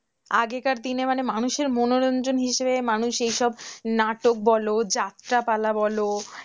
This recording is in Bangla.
আগেকার দিনে মানে মানুষের মনোরঞ্জন হিসেবে মানুষ এইসব নাটক বল যাত্রা পালা বলো,